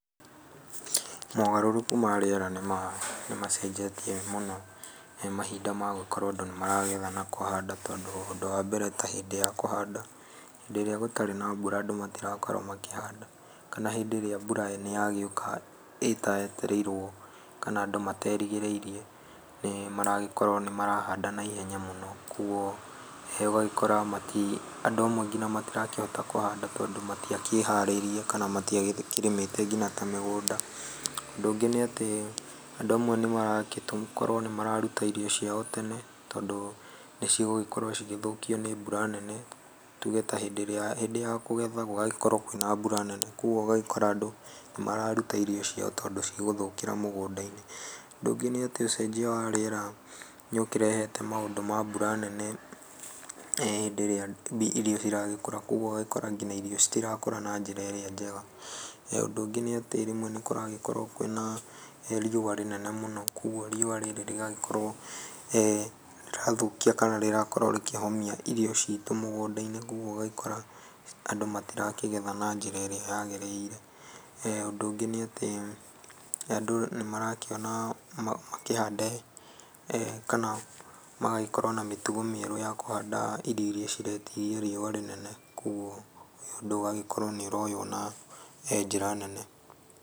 Mogarũrũku ma rĩera nĩ macenjetie mũno mahinda ma gũkorwo andũ nĩ maragetha na kũhanda tondũ ũndũ wa mbere ta hĩndĩ ya kũhanda hindĩ ĩrĩa gũtarĩ na mbura andũ matirakorwo makĩhanda kana hĩndĩ ĩrĩa mbura nĩ yagĩũka ĩtaetereirwo kana andũ materĩgĩrĩirie nĩ maragĩkorwo makĩhanda naihenya mũno kogũo ũgagĩkora andũ amwe nginya matirakĩhonda kũhanda tondũ matia kĩharĩirie kana matiakĩharĩirie na matiakĩrĩmĩte nginya ta mĩgũnda ,ũndũ ũngĩ nĩ atĩ andũ amwe nĩ maragĩkorwo nĩ mararuta irio ciao tene tondũ nĩ cigũgĩkorwo cigĩthũkio nĩ mbura nene tuge ta hĩndĩ ĩrĩa hĩndĩ ya kũgetha gũgakorwo kwĩna mbura nene kogũo ũgagĩkora andũ nĩ mararuta irio ciao tondũ ni cigũthokĩra mũgũnda-inĩ, ũndũ ũngĩ nĩ atĩ ũcenjia wa rĩera nĩ ũkĩrehete maũndũ ma mbũra nene hĩndĩ ĩrĩa irio ciragĩkũra kogũo ũgakora nginya irio citirakũra na njĩra ĩrĩa njega, ũndũ ũngĩ nĩ atĩ rĩmwe nĩ kũragĩkorwo kwĩna riũa rĩnene mũno kogũo riũa rĩrĩ rĩgagĩkorwo rĩrathũkia kana rĩrakorwo rĩkĩhomia irio citũ mũgũnda-inĩ kogũo ũgagĩkora andũ matirakigetha na njĩra ĩrĩa yagĩrĩire, ũndũ ũngĩ nĩ atĩ andũ nĩ marakĩona makĩhande kana magagĩkorwo na mĩtugo mĩerũya kũhanda irio irĩa ciretiria riũa rĩnene kogũo ũndũ ũyũ ũgakorwo nĩ ũroywo na njĩra nene.